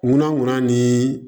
Ŋunanŋunan ni